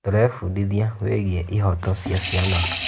Tũrebundithia wĩgiĩ ihooto cia ciana.